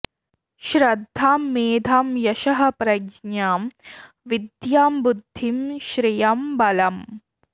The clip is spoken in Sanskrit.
श्रद्धां मेधां यशः प्रज्ञां विद्यां बुद्धिं श्रियं बलम्